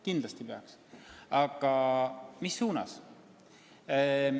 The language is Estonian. Kindlasti peaks, aga mis suunas?